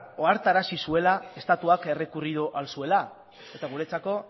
ohartarazi zuela estatuak errekurritu ahal zuela eta guretzako